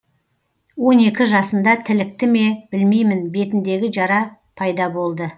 он екі жасында тілікті ме білмеймін бетіндегі жара пайда болды